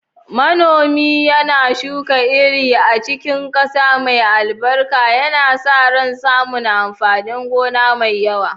Manomi yana shuka iri a cikin ƙasa mai albarka, yana sa ran samun amfanin gona mai yawa.